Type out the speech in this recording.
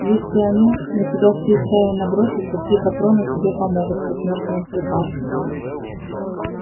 если они на тебя всей стаей набросятся три патрона тебе помогут как мёртвому припарки